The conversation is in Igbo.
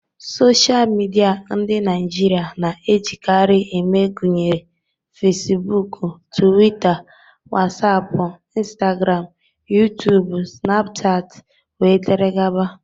Sochịa midia ndị Naịjirịa na-ejikarị eme gụnyere Fesibuuku, Tuwita, Wasapụ, Instagramụ, Yutubu, Sịnapụchatị, wdg.